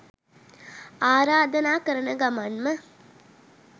ආරාධනා කරන ගමන්ම